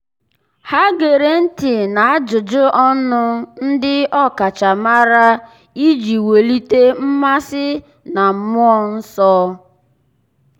há gèrè ntị́ n’ájụ́jụ́ ọnụ ndị ọ́kàchàmàrà iji wèlíté mmasị na mmụọ́ nsọ́. nsọ́.